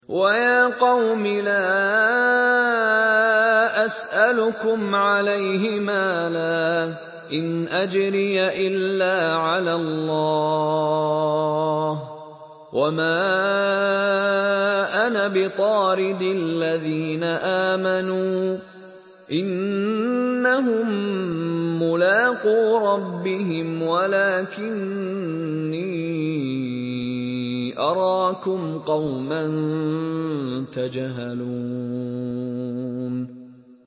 وَيَا قَوْمِ لَا أَسْأَلُكُمْ عَلَيْهِ مَالًا ۖ إِنْ أَجْرِيَ إِلَّا عَلَى اللَّهِ ۚ وَمَا أَنَا بِطَارِدِ الَّذِينَ آمَنُوا ۚ إِنَّهُم مُّلَاقُو رَبِّهِمْ وَلَٰكِنِّي أَرَاكُمْ قَوْمًا تَجْهَلُونَ